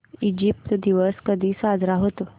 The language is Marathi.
इजिप्त दिवस कधी साजरा होतो